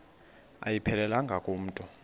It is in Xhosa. ayiphelelanga ku mntu